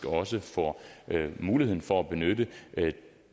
også får muligheden for at benytte